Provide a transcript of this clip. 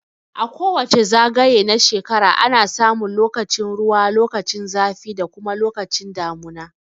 A kowace zagaye na shrekara ana samun lokacin ruwa lokacin zafi da kuma damuna